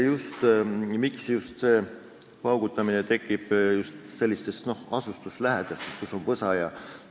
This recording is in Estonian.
Miks paugutamist tekib just sellistes asustuse lähedal olevates kohtades, kus on võsa jne?